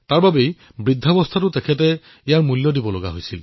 ইয়াৰ বাবে বৃদ্ধাৱস্থাতো তেওঁ মূল্য ভৰিবলগীয়া হল